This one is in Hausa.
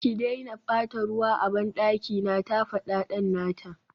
ki daina bata ruwa a bandaki na, ta fada dan nata